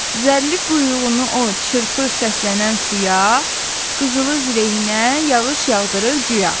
Zərrli quyruğunu o çırpır səslənən suya, qızılı zirehinə yağış yağdırır güya.